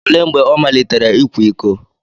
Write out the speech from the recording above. Olee mgbe ọ malitere ịkwa iko?